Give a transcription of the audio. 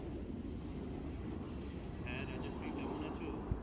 হ্যাঁ Rajashree কেমন আছো